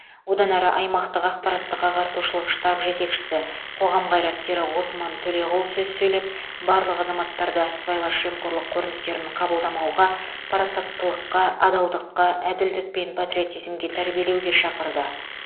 одан әрі аймақтық ақпараттық ағартушылық штаб жетекшісі қоғам қайраткері ғосман төлеғұл сөз сөйлеп барлық азаматтарды сыбайлас жемқорлық көріністерін қабылдамауға парасаттылыққа адалдыққа әділдік пен патриотизмге тәрбиелеуге шақырды